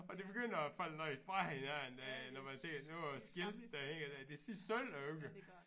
Og det begynder at falde noget fra hinanden øh når man ser nogle af æ skilte der hænger der det ser sølle ud